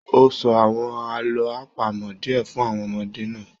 O sọ àwọn àlọ apamọ diẹ fún àwọn ọmọdé náà.